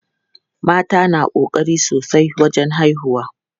Mata na ƙokari sosai wajen haihuwa.